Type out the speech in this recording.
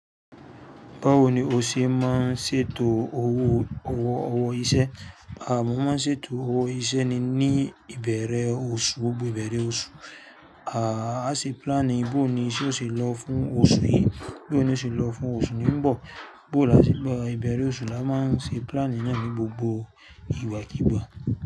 Báwo ni o ṣe máa ń ṣètò owó ọwọ́ iṣẹ́? À, mo máa ń ṣètò owó iṣẹ́ ni ní ìbẹ̀rẹ̀ oṣù, gbogbo ìbẹ̀rẹ̀ oṣù. À, a ṣe plan booni ise o ṣe lọ fún oṣù yìí, booni yio ṣe o lọ fún oṣù tí ń bọ̀. Boo ni a ṣe, ìbẹ̀rẹ̀ oṣù la máa ń ṣe plan náà ní gbogbo ìgbàkígbà.